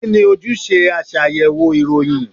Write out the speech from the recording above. Kí ni ojúṣe aṣàyẹ̀wò ìròyìn?